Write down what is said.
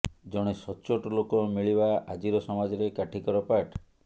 ଜଣେ ସଚ୍ଚୋଟ ଲୋକ ମିଳିବା ଆଜିର ସମାଜରେ କାଠିକର ପାଠ